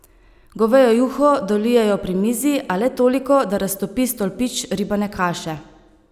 Govejo juho dolijejo pri mizi, a le toliko, da raztopi stolpič ribane kaše.